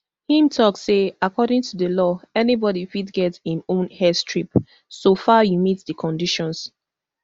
im tok say according to di law anybodi fit get im own airstrip soo far you meet di conditions